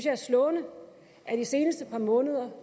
er slående at i det seneste par måneder